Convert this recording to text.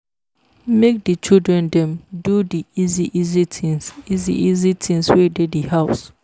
Make di children dem do di easy easy things easy easy things wey dey di house